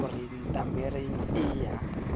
o re ntaramane ee ya